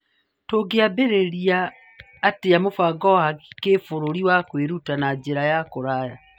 Tũngĩambĩrĩria atĩa mũbango wa gĩbũrũri wa kwĩruta na njĩra ya kũraya?